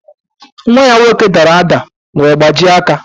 Nwa ya nwoke dara ádá wee gbajie aka.